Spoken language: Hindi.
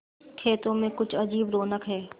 खेतों में कुछ अजीब रौनक है